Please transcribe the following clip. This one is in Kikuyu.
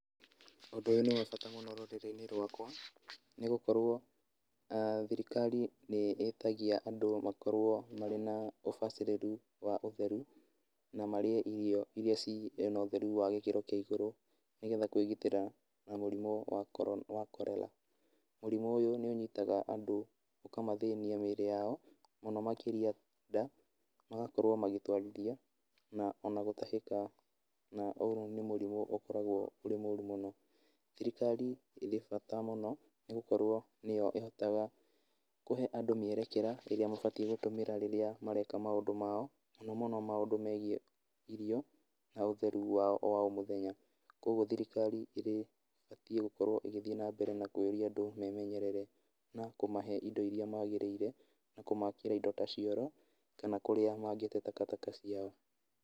Ũndũ ũyũ nĩ wa bata mũno rũrĩrĩ-inĩ rwakwa, nĩ gũkorwo thirikari nĩ ĩtagia andũ marĩ na ũbacĩrĩru wa ũtheru na marie na irio ciĩna ũtheri wa kĩrathi kĩa igũrũ nĩgetha kwĩgitĩra na mũrimũ wa Cholera. Mũrimũ ũyu nĩ ũnyitaga andũ na ũkũmathĩnia mĩĩrĩ yao mũno makĩria nda, magakorwo magĩtwarithia, na ona gũtahĩka na ũyũ nĩ mũrimũ ũkoragwo ũrĩ mũru mũno. Thirikari ĩrĩ bata mũno nĩ gũkorwo nĩ yo ĩhotaga kũhe andũ mĩerkĩra ĩrĩa mabatie gũtũmĩra rĩrĩa mareka maũndũ mao, mũno mũno maũndũ megie irio na ũtheru wa oro mũthenya, kwoguo thirikari ĩbatie gũkorwo ĩgĩthiĩ na mbere na kũria andũ memenyerere na kũmahe indo iria magĩrĩire na kũmakĩra indo ta cioro kana kũrĩa mangĩte takataka ciao.